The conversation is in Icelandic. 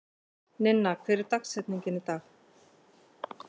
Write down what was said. Ninna, hver er dagsetningin í dag?